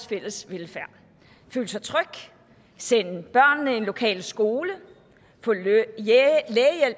fælles velfærd føle sig tryg sende børnene i en lokal skole få lægehjælp